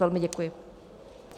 Velmi děkuji.